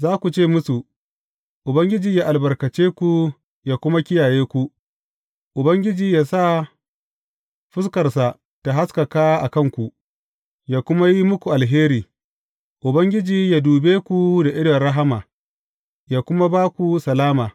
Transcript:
Za ku ce musu, Ubangiji yă albarkace ku, yă kuma kiyaye ku; Ubangiji yă sa fuskarsa ta haskaka a kanku, yă kuma yi muku alheri; Ubangiji yă dube ku da idon rahama, yă kuma ba ku salama.